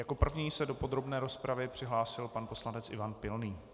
Jako první se do podrobné rozpravy přihlásil pan poslanec Ivan Pilný.